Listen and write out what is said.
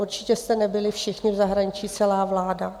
Určitě jste nebyli všichni v zahraničí, celá vláda.